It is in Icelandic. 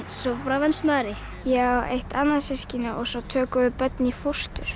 svo venst maður því ég á eitt annað systkini svo tökum við börn í fóstur